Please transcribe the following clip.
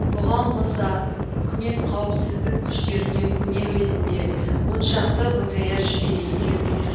бұған қоса үкімет қауіпсіздік күштеріне көмек ретінде оншақты бтр жіберейін деп отыр